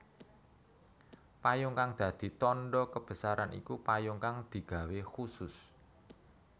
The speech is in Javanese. Payung kang dadi tandha kebesaran iku payung kang digawé khusus